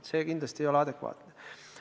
See ei ole kindlasti adekvaatne.